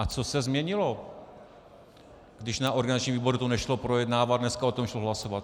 A co se změnilo, když na organizačním výboru to nešlo projednávat, dneska o tom šlo hlasovat?